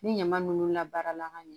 Ni ɲama nunnu labaara ka ɲɛ